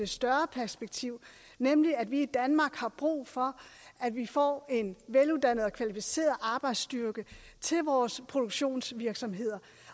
større perspektiv nemlig at vi i danmark har brug for at vi får en veluddannet og kvalificeret arbejdsstyrke til vores produktionsvirksomheder